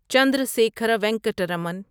Chandrasekhara Venkata Raman